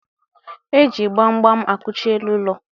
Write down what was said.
E ji gbam gbam akụchi elu ụlọ.